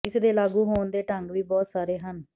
ਇਸਦੇ ਲਾਗੂ ਹੋਣ ਦੇ ਢੰਗ ਵੀ ਬਹੁਤ ਸਾਰੇ ਹਨ